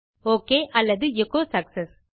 okay அல்லது எச்சோ success